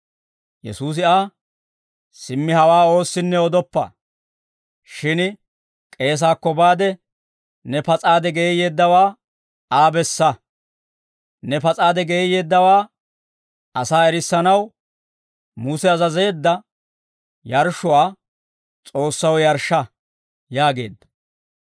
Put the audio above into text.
Yesuusi Aa, «Simmi hawaa oossinne odoppa; shin k'eesaakko baade ne pas'aade geeyyeeddawaa Aa bessa; ne pas'aade geeyyeeddawaa asaa erissanaw Muse azazeedda yarshshuwaa S'oossaw yarshsha» yaageedda.